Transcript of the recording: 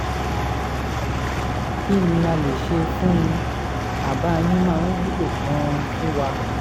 kí ni a lè ṣe fún un? àbá yín máa wúlò gan-an fún wa